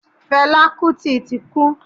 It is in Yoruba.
Fẹlá Kútì ti kú.